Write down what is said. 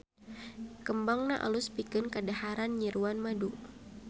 Kembangna alus pikeun kadaharan nyiruan madu.